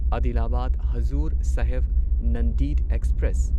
Adilabad Hazur Sahib Nanded express